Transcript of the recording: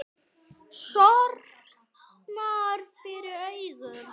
Sortnar fyrir augum.